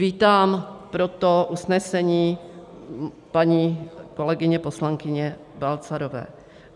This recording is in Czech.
Vítám proto usnesení paní kolegyně poslankyně Balcarové.